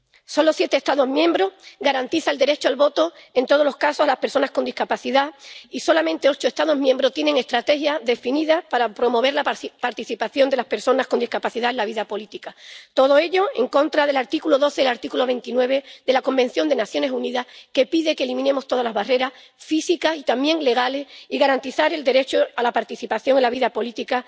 Solo siete Estados miembros garantizan el derecho al voto en todos los casos a las personas con discapacidad y solamente ocho Estados miembros tienen estrategias definidas para promover la participación de las personas con discapacidad en la vida política. Todo ello en contra del artículo 12 y el artículo 29 de la Convención de las Naciones Unidas, que pide que eliminemos todas las barreras físicas y también legales y que se garantice el derecho de estas personas a participar en la vida pública.